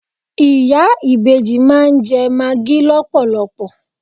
Ìyá ìbejì máa ń jẹ magi lọpọlọpọ.